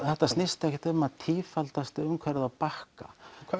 þetta snýst ekkert um að tífalda umhverfið á Bakka